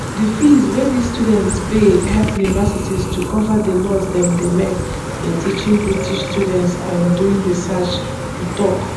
di fees wey dis students pay help universities to cover di loss dem dey make in teaching british students and and doing research e tok